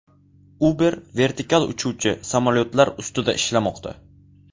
Uber vertikal uchuvchi samolyotlar ustida ishlamoqda.